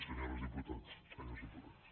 senyores diputades senyors diputats